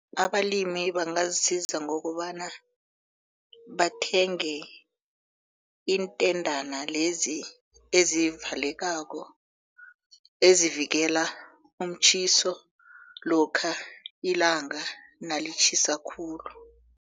Abalimi bangazisiza ngokobana bathenge intendana lezi ezivalekako ezivikela umtjhiso lokha ilanga nalitjhisa khulu.